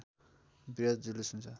वृहत जुलूस हुन्छ